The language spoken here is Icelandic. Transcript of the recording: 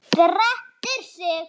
Að ég hafi átt.?